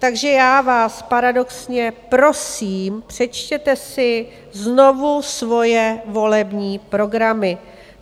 Takže já vás paradoxně prosím, přečtěte si znovu svoje volební programy.